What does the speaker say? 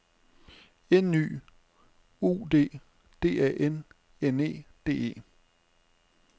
N Y U D D A N N E D E